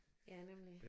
Ja nemlig